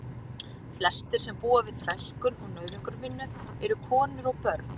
Flestir sem búa við þrælkun og nauðungarvinnu eru konur og börn.